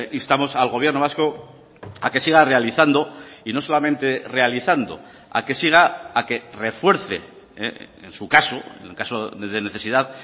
instamos al gobierno vasco a que siga realizando y no solamente realizando a que siga a que refuerce en su caso en el caso de necesidad